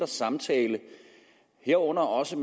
samtale herunder også